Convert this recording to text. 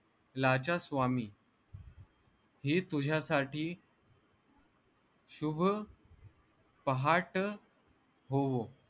लाचा स्वामी ही तुझ्यासाठी शुभ पाहाट होवो